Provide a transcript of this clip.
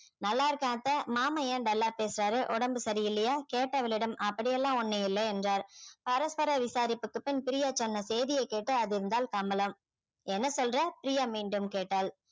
நல்லா இருக்கேன் அத்தை மாமா ஏன் dull ஆ பேசுறாரு உடம்பு சரியில்லையா கேட்டவளிடம் அப்படி எல்லாம் ஒண்ணும் இல்லை என்றாள் பரஸ்பர விசாரிப்புக்கு பின் பிரியா சொன்ன செய்தியை கேட்டு அதிர்ந்தாள் கமலம் என்ன சொல்ற பிரியா மீண்டும் கேட்டாள்